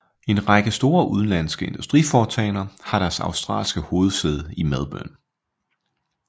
En række store udenlandske industriforetagender har deres australske hovedsæde i Melbourne